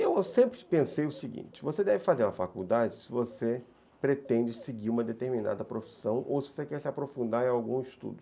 Eu sempre pensei o seguinte, você deve fazer uma faculdade se você pretende seguir uma determinada profissão ou se você quer se aprofundar em algum estudo.